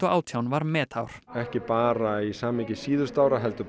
átján var metár ekki bara í samhengi síðustu ára heldur